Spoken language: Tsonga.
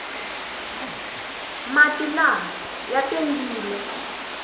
mati lama ya tengile